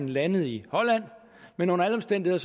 landet i holland men under alle omstændigheder